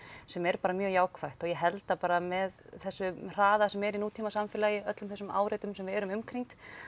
sem er bara mjög jákvætt og ég held að bara með þessum hraða sem er í nútímasamfélagi öllum þessum áreitum sem við erum umkringd